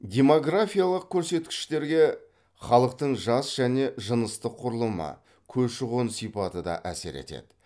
демографиялық керсеткіштерге халықтың жас және жыныстық кұрылымы көші қон сипаты да әсер етеді